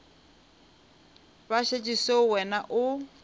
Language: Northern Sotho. ba šetše seo wena o